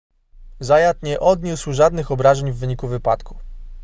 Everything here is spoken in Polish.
zayat nie odniósł żadnych obrażeń w wyniku wypadku